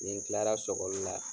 Nin Kila la sɔkɔli la